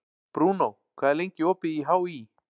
Bruno, hvað er lengi opið í HÍ?